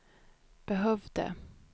behövde